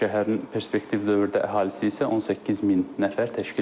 Şəhərin perspektiv dövrdə əhalisi isə 18 min nəfər təşkil edəcək.